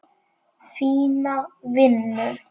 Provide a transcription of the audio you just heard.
Fína vinnu.